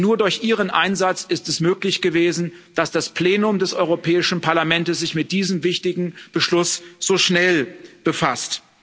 Denn nur durch ihren Einsatz ist es möglich gewesen, dass das Plenum des Europäischen Parlaments sich mit diesem wichtigen Beschluss so schnell befasst.